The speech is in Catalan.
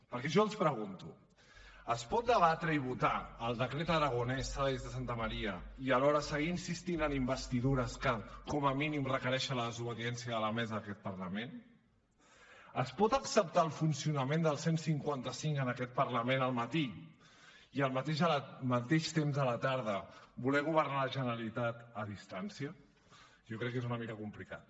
perquè jo els pregunto es pot debatre i votar el decret aragonès saénz de santamaría i alhora seguir insistint en investidures que com a mínim requereixen la desobediència de la mesa d’aquest parlament es pot acceptar el funcionament del cent i cinquanta cinc en aquest parlament al matí i al mateix temps a la tarda voler governar la generalitat a distància jo crec que és una mica complicat